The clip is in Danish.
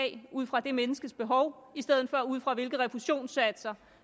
ud fra det menneskes behov i stedet for ud fra hvilke refusionssatser